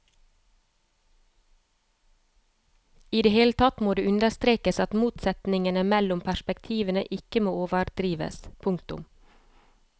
I det hele tatt må det understrekes at motsetningene mellom perspektivene ikke må overdrives. punktum